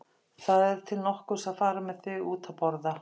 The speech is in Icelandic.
Það er til nokkurs að fara með þig út að borða!